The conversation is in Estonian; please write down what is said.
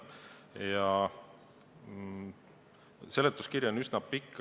Ja seletuskiri on üsna pikk.